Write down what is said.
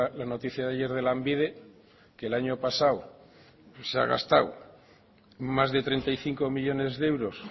la noticia de ayer de lanbide que el año pasado se ha gastado más de treinta y cinco millónes de euros